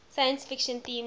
science fiction themes